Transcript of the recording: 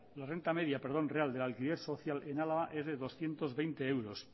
la renta media real del alquiler social en álava es de doscientos veinte euros